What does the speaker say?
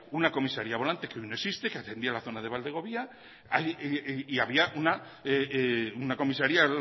una comisaría volante que hoy no existe que atendía la zona de valdegovía y había una comisaría